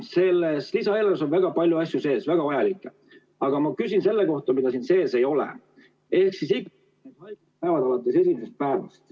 Selles lisaeelarves on väga palju vajalikke asju sees, aga ma küsin selle kohta, mida siin sees ei ole, ehk ikka see haiguspäevade hüvitamine alates esimesest päevast.